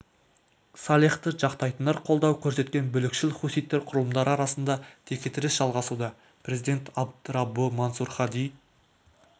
салехті жақтайтындар қолдау көрсеткен бүлікшіл хуситтер құрылымдары арасында текетірес жалғасуда президент абд раббо мансур хади